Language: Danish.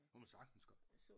Kunne man sagtens godt